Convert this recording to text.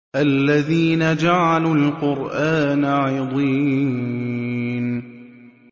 الَّذِينَ جَعَلُوا الْقُرْآنَ عِضِينَ